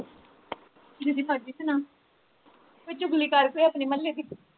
ਜਿਦੀ ਮਰਜ਼ੀ ਸੁਣਾ ਕੋਈ ਚੁਗਲੀ ਕਰ ਅਪਣੇ ਮੁਹੱਲੇ ਦੀ